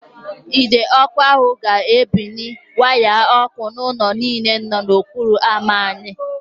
Ide ọkụ ahụ ga-ebuli waya ọkụ ụlọ niile nọ n'okporo ámá anyị.